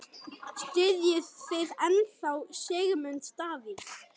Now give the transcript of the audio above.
Styðjið þið ennþá Sigmund Davíð?